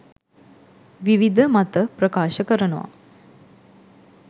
විවිධ මත ප්‍රකාශ කරනවා.